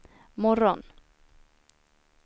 morgon